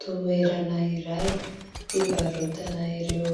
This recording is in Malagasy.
Toerana iray fivarotana ireo